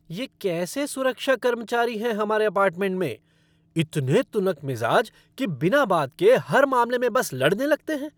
ये कैसे सुरक्षा कर्मचारी हैं हमारे अपार्टमेंट में? इतने तुनकमिज़ाज कि बिना बात के हर मामले में बस लड़ने लगते हैं।